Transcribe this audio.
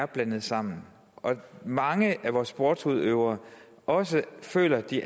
blandet sammen og at mange af vores sportsudøvere også føler at de